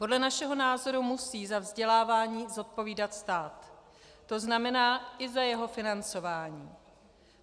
Podle našeho názoru musí za vzdělávání zodpovídat stát, to znamená i za jeho financování.